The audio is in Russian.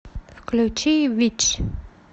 включи витч